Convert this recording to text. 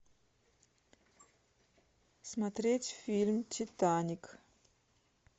смотреть фильм титаник